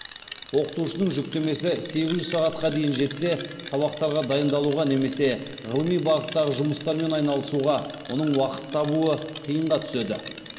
оқытушының жүктемесі сегіз жүз сағатқа дейін жетсе сабақтарға дайындалуға немесе ғылыми бағыттағы жұмыстармен айналысуға оның уақыт табуы қиынға түседі